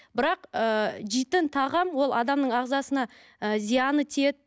бірақ ы жейтін тағам ол адамның ағзасына ы зияны тиеді